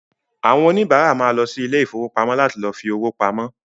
Àwọn òníbárà ma lọ sí ilé ìfowópamọ́ láti lọ fi owó pamọ́